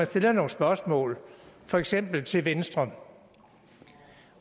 stiller nogle spørgsmål for eksempel til venstre om